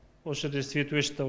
осы жерде свет өшті